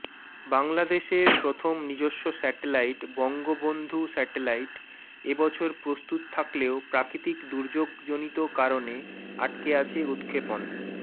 বাংলাদেশের প্রথম নিজস্ব স্যাটেলাইট বঙ্গবন্ধু স্যাটেলাইট এবছর প্রস্তুত থাকলেও প্রাকৃতিক দুর্যোগজনিত কারণে আটকে আছে উৎক্ষেপণ